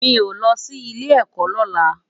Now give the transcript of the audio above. Mi ó lò si ilé èkò lòlá